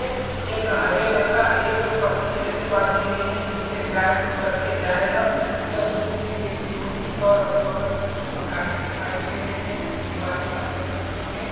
एक हरे रंग का एक पट्टी जैसी बाँधी गई है जिस से गाये खुल कर के जाए ना यह दूध भी देती होगी और अगल बगल मे कुछ मकाने दिखाई दे रही है कुछ दिवारे सफेद रंग से पेंट --